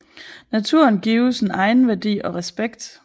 Naturen gives en egenværdi og respekt